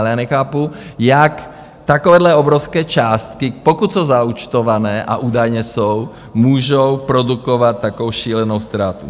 Ale já nechápu, jak takovéhle obrovské částky, pokud jsou zaúčtované, a údajně jsou, můžou produkovat takovou šílenou ztrátu.